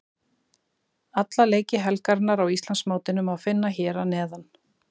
Alla leiki helgarinnar á Íslandsmótinu má finna hér að neðan.